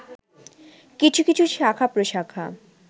কিছু কিছু শাখা-প্রশাখা